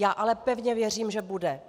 Já ale pevně věřím, že bude.